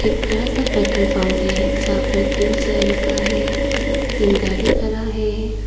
एक बड़ा सा पेट्रोल पम्प है जहां पर तीन चेयर है तीन गाड़ी खड़ा है।